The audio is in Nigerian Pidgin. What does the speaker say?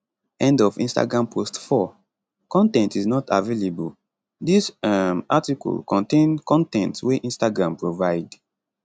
end of instagram post 4 con ten t is not available dis um article contain con ten t wey instagram provide